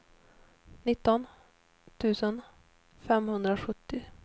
nitton tusen femhundrasjuttio